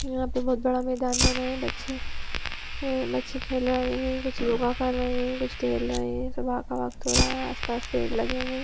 यहाँ पे बहुत बड़ा मैदान बना है बच्चे है बच्चे खेल रहे है कुछ योगा कर रहे है कुछ टहल रहे है सुबह का वक्त हो रहा है आसपास पेड़ लगे हुए है।